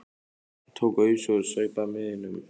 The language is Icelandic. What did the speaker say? Hann tók ausu og saup af miðinum.